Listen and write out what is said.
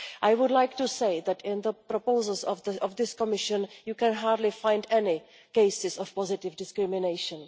I would like to say that in the proposals of this Commission you can hardly find any cases of positive discrimination.